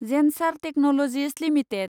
Zensar technologies limited